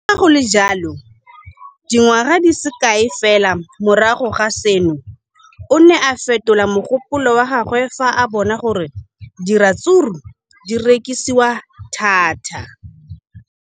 Le fa go le jalo, dingwaga di se kae fela morago ga seno, o ne a fetola mogopolo wa gagwe fa a bona gore diratsuru di rekisiwa thata.